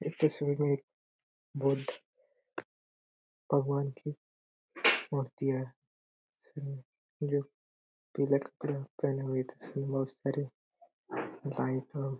इस तस्वीर में बुद्ध भगवान कि मूर्ती है इसमें जो पिला कपड़ा पहने हुए तस्वीर है बहुत सारे .